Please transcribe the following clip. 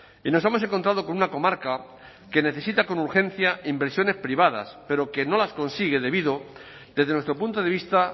y nos hemos encontrado con una comarca que necesita con urgencia inversiones privadas pero que no las consigue debido desde nuestro punto de vista